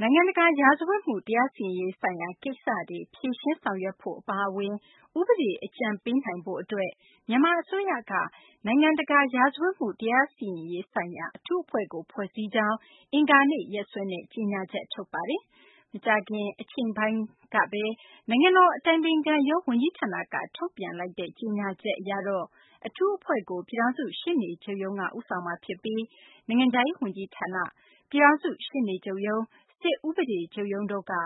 နိုင်ငံတကာ ရာဇဝတ်မှု တရားစီရင်ရေးဆိုင်ရာကိစ္စတွေ ဖြေရှင်းဆောင်ရွက်ဖို့ အပါအဝင် ဥပဒေ အကြံပေးနိုင်ရေးအတွက်ဆိုပြီး မြန်မာအစိုးရက နိုင်ငံတကာ ရာဇဝတ်မှု တရားစီရင်ရေးဆိုင်ရာ အထူးအဖွဲ့ကို ဖွဲ့စည်းကြောင်း အင်္ဂါနေ့ရက်စွဲနဲ့ ကြေညာချက် ထုတ်ပါတယ်။ မကြာခင် အချိန်ပိုင်းက နိုင်ငံတော် အတိုင်ပင်ခံရုံးဝန်ကြီးဌာနက ထုတ်ပြန်လိုက်တဲ့ ဒီကြေညာချက်အရတော့ အထူးအဖွဲ့ကို ပြည်ထောင်စု ရှေ့နေချုပ်ရုံးက ဦးဆောင်မှာဖြစ်ပြီး နိုင်ငံခြားရေးဝန်ကြီးဌာန၊ ပြည်ထောင်စု ရှေ့နေချုပ်ရုံး၊ စစ်ဥပဒေချုပ်ရုံးတို့က ဥ